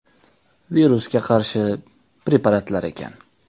Virusga qarshi preparatlar ekan.